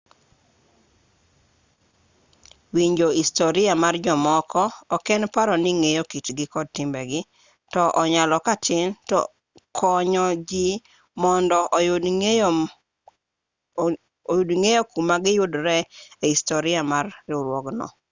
winjo historia mar jomoko ok en paro ni-ing'eyo kitgi kod timbegi to onyalo katin to konyo jii mondo oyud ng'eyo kama giyudore ei historia mar riwruogno